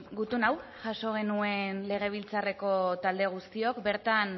gutun hau jaso genuen legebiltzarreko talde guztiok bertan